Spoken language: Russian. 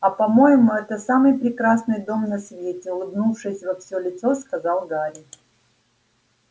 а по-моему это самый прекрасный дом на свете улыбнувшись во всё лицо сказал гарри